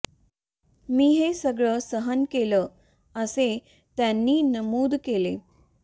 मी हे सगळं सहन केलं असे त्यांनी नमूद केले